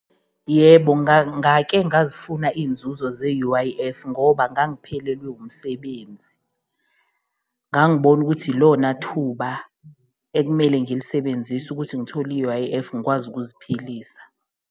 Yebo ngake ngazifuna iy'nzuzo ze-U_I_F ngoba ngangiphelelwe umsebenzi, ngangibona ukuthi ilonathuba ekumele ngilisebenzise ukuthi ngithole i-U_I_F ngikwazi ukuziphilisa.